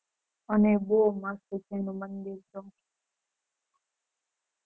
અને બૌ મસ્ત છે અનુ મંદિર તો